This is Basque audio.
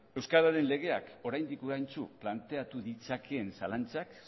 euskararen legeak oraindik planteatu ditzakeen zalantzak